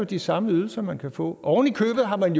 de samme ydelser man kan få ovenikøbet har man